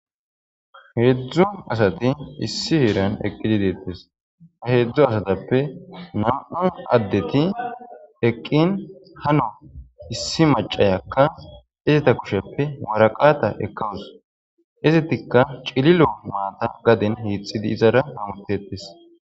Hedzdzu asatti issi heeran eqqididettes. Hedzdzu asattuppe nam'a addetti eqqin issi maciyakka itta kushsheppe woraqata ekawus. Izettika cililo maththa gaaden hixiddi izara bawdettes.